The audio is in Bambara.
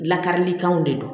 Lakarilikanw de don